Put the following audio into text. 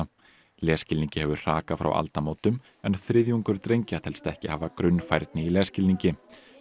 lesskilningi hefur hrakað frá aldamótum en þriðjungur drengja telst ekki hafa grunnfærni í lesskilningi